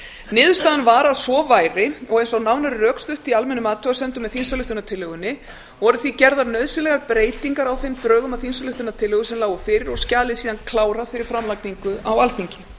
niðurstaðan var að svo væri og eins og nánar er rökstutt í almennum athugasemdum með þingsályktunartillögunni voru því gerðar nauðsynlegar breytingar á þeim drögum að þingsályktunartillögu sem lágu fyrir og skjalið síðan klárað fyrir framlagningu á alþingi